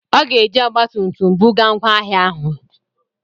Ọ ga-eji ọgba tum tum buga ngwa ahịa ahụ.